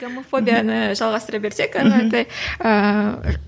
гомофобияны жалғастыра берсек ары қаратай ыыы